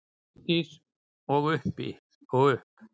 Þórdís: Og upp?